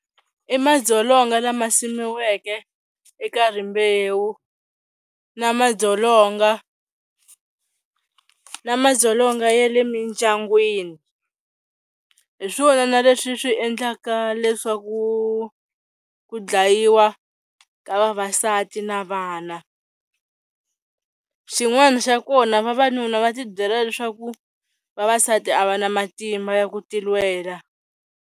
I madzolonga lama simiweke eka rimbewu na madzolonga na madzolonga ya le mindyangwini hi swona leswi swi endlaka leswaku ku ku dlayiwa ka vavasati na vana, xin'wana xa kona vavanuna va tibyela leswaku vavasati a va na matimba ya ku tilwela.